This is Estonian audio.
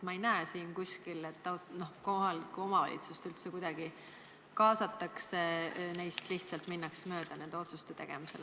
Ma ei näe siin kuskil, et kohalikke omavalitsusi üldse kuidagi kaasataks, neist lihtsalt minnakse mööda nende otsuste tegemisel.